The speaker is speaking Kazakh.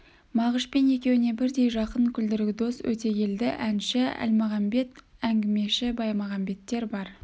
мағышпен екеуіне бірдей жақын күлдіргі дос өтегелді әнші әлмағамбет әңгімеші баймағамбеттер бар